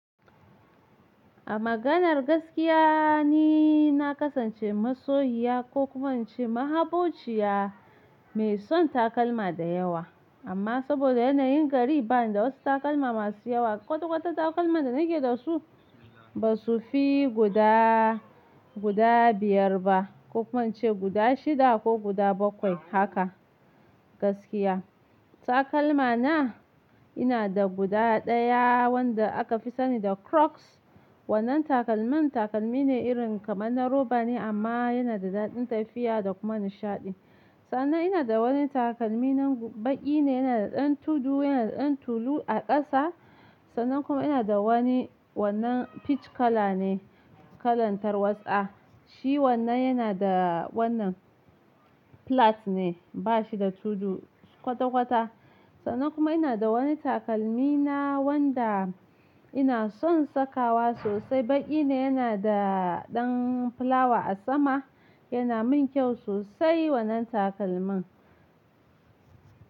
A maganar gaskiya ni na kasance masoyiya ko kuma ce ma habociya mai son takalma da yawa. Amma saboda yanayin gari ba ni da wasu takalma masu yawa. Kwata kwata takalman da nake da su ba su fi guda, guda biyar ba ko kuma ce guda shida ko guda bakwai haka gaskiya. Takalma na yana da guda daya wanda aka fi sani da crocs. Wannan takalmin takalmi ne irin kamar na roba ne amma yana da daɗin tafiya da kuma nishaɗi. Sannan ina da wani takalmi nan baƙi ne, yana da ɗan tudu, yana da ɗan tulu a ƙasa. Sannan kuma ina da wani wannan peach kala ne, kalan tarwatsa. Shi wannan yana da wannan flat ne, ba shi da tudu kwata kwata. Sannan kuma ina da wani takalmi na wanda ina son sakawa sosai. Baƙi ne, yana da ɗan fulawa a sama. Yana mun kyau sosai wannan takalmin.